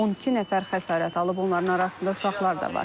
12 nəfər xəsarət alıb, onların arasında uşaqlar da var.